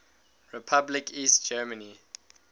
republic east germany